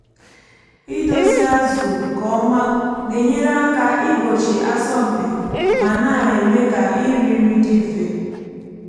idozie azụ nke ọma na-enyere aka igbochi asọmpi ma na-eme ka iri nri dị mfe.